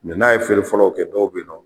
n'a ye feere fɔlɔw kɛ dɔw be ye nɔ